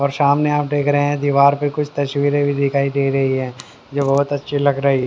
और सामने आप देख रहे हैं दीवार पे कुछ तस्वीरें भी दिखाई दे रही है जो बहोत अच्छी लग रही--